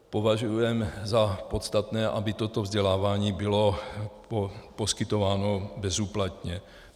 Považujeme za podstatné, aby toto vzdělávání bylo poskytováno bezúplatně.